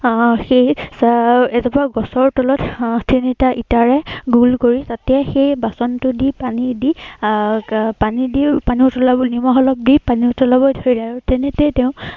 আহ সেই এৰ এজোপা গছৰ তলত আহ তিনিটা ইটাৰে তাতেই সেই বাচনটো দি, পানী দি আহ পানী দি পানী উতলাবলৈ, নিমখ অলপ দি পানী উতলাবলৈ ধৰিলে। আৰু তেনেতে তেওঁ